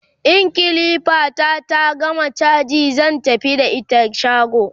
in kilifa ta ta gama chaji zan tafi da ita shago